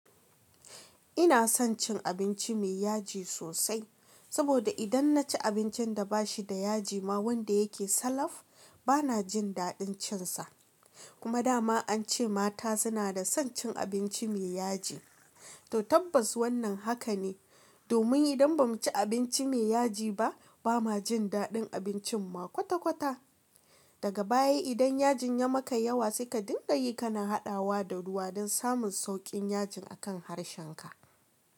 Ina son cin abinci mai yaji sosai, saboda idan naci abincin da ba shi da yaji ma wanda yake salaf bana jin daɗin cin sa. Kuma dama an ce mata suna da son cin abinci mai yaji, to tabbas wannan haka ne. Domin idan ba mu ci abinci mai yaji ba, ba ma jin daɗin abincin ma kwata-kwata. Daga baya idan yajin ya maka yawa sai ka dinga yi kana haɗawa da ruwa don samun sauƙin yajin a kan harshen ka.